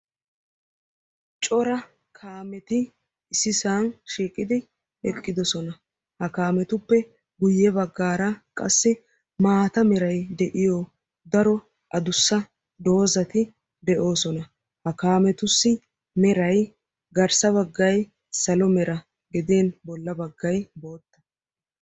cora kaameti issisan shiiqidi eqqidosona. Ha kaametupe guye baggaara qasi maata meray de'iyo daro adussa doozati de'oosona. ha kaametussi meray garssa baggay salo mera gidin bolla baggay bootta.